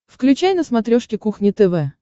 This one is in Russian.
включай на смотрешке кухня тв